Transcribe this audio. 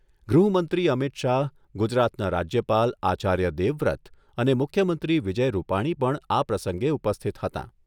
ગૃહમંત્રી અમિત શાહ, ગુજરાતના રાજ્યપાલ આચાર્ય દેવવ્રત અને મુખ્યમંત્રી વિજય રૂપાણી પણ આ પ્રસંગે ઉપસ્થિત હતાં.